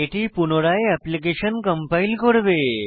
এটি পুনরায় application compile করবে